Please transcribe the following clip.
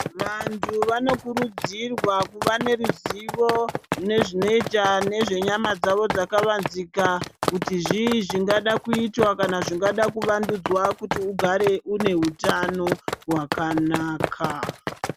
Vantu vanokurudzirwa kuva neruzivo nezvinoitwa nezvenyama dzawo dzakavanzika kuti zvii zvangada kuitwa kana zvingada kuvandudzwa kuti ugare une hutano hwakanaka.